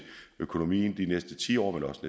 økonomien de næste ti år men også